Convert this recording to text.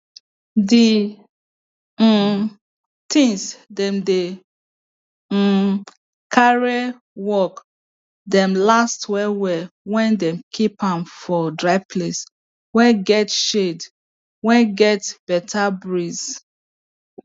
the um things dem dey um carry work dey last well well when dem keep am for dryplace way get shade way get beta breeze